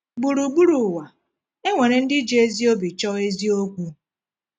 Gburugburu ụwa, e nwere ndị ji ezi obi chọọ eziokwu.